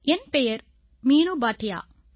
என் பெயர் மீனு பாட்டியா